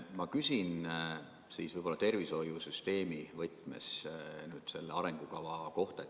Ma küsin võib-olla tervishoiusüsteemi võtmes selle arengukava kohta.